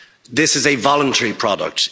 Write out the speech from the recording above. This is a voluntary product.